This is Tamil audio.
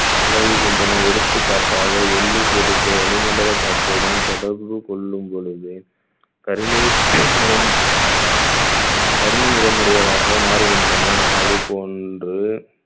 விலகுகின்றன எடுத்துக்காட்டாக வெள்ளிப் பொருட்களுக்கு வளிமண்டல காற்றுடன் தொடர்பு கொள்ளும் பொழுது கருமை நிறம் கருமை நிறம் உடையதாக மாறுகின்றன அது போன்று